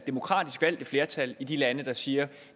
demokratisk valgte flertal i de lande der siger at